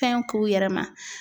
Fɛn k'u yɛrɛ ma.